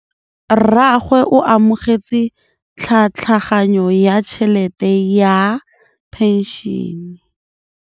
Rragwe o amogetse tlhatlhaganyô ya tšhelête ya phenšene.